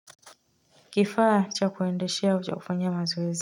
Kifaa cha kuendeshea au cha kufanyia mazoezi.